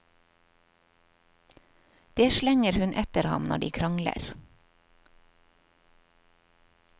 Det slenger hun etter ham når de krangler.